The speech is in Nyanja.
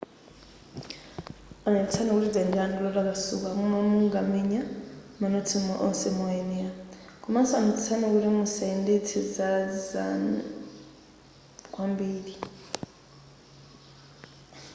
onetsetsani kuti dzanja lanu ndi lotakasuka momwe mukamenya manotsi onse moyenera komanso onetsetsani kuti musayendetse kwambiri zala zanu